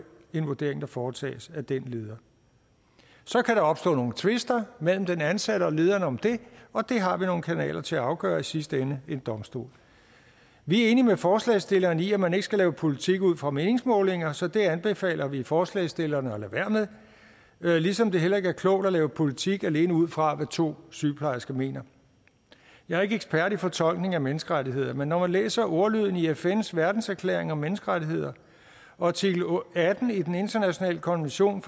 en vurdering der foretages af den leder så kan der opstå nogle tvister mellem den ansatte og lederen om det og det har vi nogle kanaler til at afgøre i sidste ende en domstol vi er enige med forslagsstillerne i at man ikke skal lave politik ud fra meningsmålinger så det anbefaler vi forslagsstillerne at lade være med ligesom det heller ikke er klogt at lave politik alene ud fra hvad to sygeplejersker mener jeg er ikke ekspert i fortolkning af menneskerettigheder men når man læser ordlyden i fns verdenserklæring om menneskerettigheder og artikel atten i den internationale konvention om